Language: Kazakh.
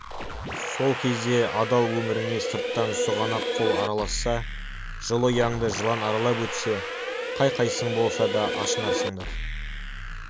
сол кезде адал өміріңе сырттан сұғанақ қол араласса жылы ұяңды жылан аралап өтсе қай қайсың болса да ашынарсыңдар